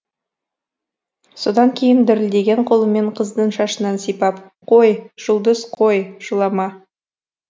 содан кейін дірілдеген қолымен қыздың шашынан сипап қой жұлдыз қой жылама